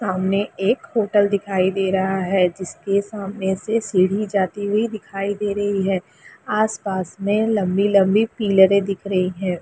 सामने एक होटल दिखाई दे रहा है जिसके सामने से सीढ़ी जाती हुई दिखाई दे रही है आस- पास मे लंबी - लंबी पीलरें दिख रही हैं।